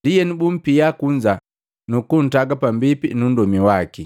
ndienu bumpia kunza, nukuntaga pambipi nu nndomi waki.